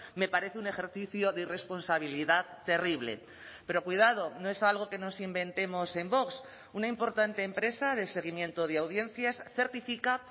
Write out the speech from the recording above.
me parece un ejercicio de irresponsabilidad terrible pero cuidado no es algo que nos inventemos en vox una importante empresa de seguimiento de audiencias certifica